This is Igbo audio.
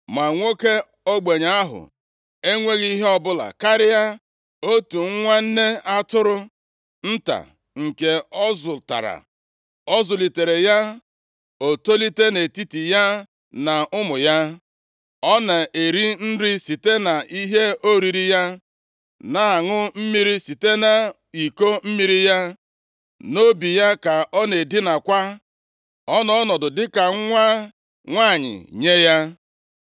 Ma nwoke ogbenye ahụ enweghị ihe ọbụla karịa otu nwa nne atụrụ nta nke ọ zụtara. Ọ zụlitere ya, o tolite nʼetiti ya na ụmụ ya. Ọ na-eri nri site na ihe oriri ya, na-aṅụ mmiri site nʼiko mmiri ya, nʼobi ya ka ọ na-edinakwa. Ọ nọ ọnọdụ dịka nwa nwanyị nye ya.